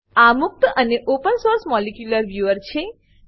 આ મુક્ત અને ઓપન સોર્સ મોલિક્યુલર વ્યૂઅર છે